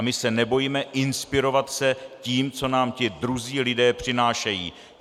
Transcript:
A my se nebojme inspirovat se tím, co nám ti druzí lidé přinášejí.